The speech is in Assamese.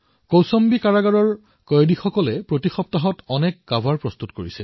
কৌশম্বী কাৰাগাৰৰ কয়দীসকলে প্ৰতি সপ্তাহে এনে অনেক কভাৰ নিৰ্মাণ কৰিছে